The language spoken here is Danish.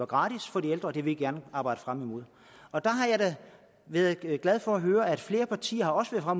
gratis for de ældre og det vil vi gerne arbejde frem imod og der har jeg da været glad for at høre at flere partier også har